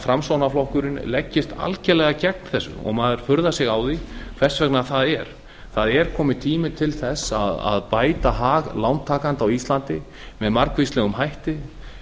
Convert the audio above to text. framsóknarflokkurinn leggist algerlega gegn þessu og maður furðar sig á því hvers vegna það er það er kominn tími til þess að bæta hag lántakenda á íslandi með margvíslegum hætti